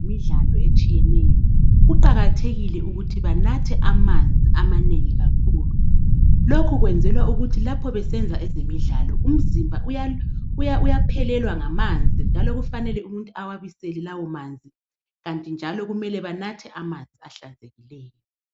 Abenza ezemidlalo etshiyeneyo kuqakathekile ukuthi banathe amanzi amanengi kakhulu lokhu kwenzelwa ukuthi lapho besenza ezemidlalo umzimba uyaphelelwa ngamanzi njalo kufanele awabisele lawo manzi kanti njalo kumele banathe amanzi ahlanzekileyo.